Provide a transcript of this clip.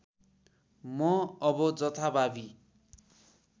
म अब जथाभावी